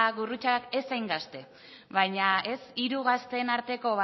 gurrutxagaz ez hain gazte baina hiru gazteen arteko